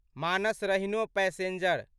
मानस रहिनो पैसेंजर